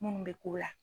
Munnu bɛ ko la